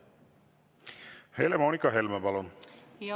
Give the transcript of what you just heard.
Helle-Moonika Helme, palun!